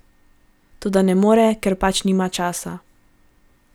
Toda ne more, ker pač nimam časa.